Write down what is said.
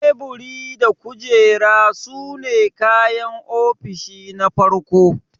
Teburi da kujera sune kayan ofishi na farko.